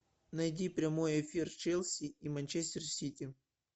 найди прямой эфир челси и манчестер сити